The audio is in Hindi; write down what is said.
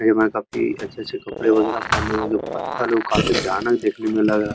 कई बार काफी अच्छे-अच्छे से कपडे वगैरह पहनने हुए हैं। जो पत्थर है वो काफी भयानक देखने में लग रहा है।